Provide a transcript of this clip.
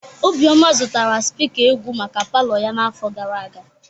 Obioma zụtara spika egwu maka palọ ya n'afọ gara aga.